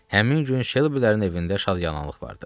Həmin gün Şelbilərin evində şadyanalıq vardı.